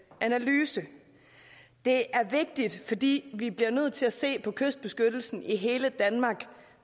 analyse det er vigtigt fordi vi bliver nødt til at se på kystbeskyttelsen i hele danmark